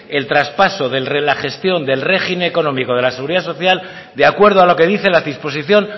el traspaso de la gestión del régimen económico de la seguridad social de acuerdo a lo que dice la disposición